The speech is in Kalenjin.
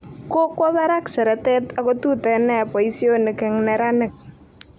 Kokwo barak seretet ako tuten nia boisionik eng neranik